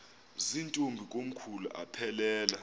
zirntombi komkhulu aphelela